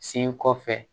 Sen kɔfɛ